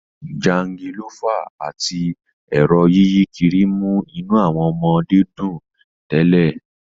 Jangolófà àti ẹ̀rọ yíyí kiri mú inú àwọn ọmọdé dùn tẹ́lẹ̀